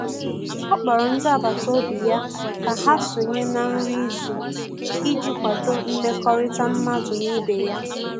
ọ kpọrọ ndi agbata obi ya ka ha sonye na nri izu iji kwado mmekorita madu n'ibe ya